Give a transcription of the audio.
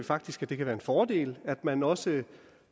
faktisk at det kan være en fordel at man også